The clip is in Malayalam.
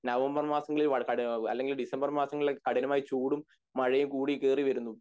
നവംബർ മാസങ്ങളിൽ വാഴ കട അല്ലങ്കിൽ കഠിനമായ ചൂടും മഴയും കൂടി കേറി വരുന്നു